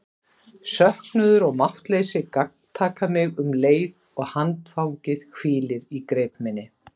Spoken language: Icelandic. Söknuður og máttleysi gagntaka mig um leið og handfangið hvílir í greip minni.